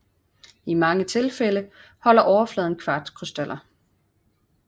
I mange tilfælde holder overfladen kvartskrystaller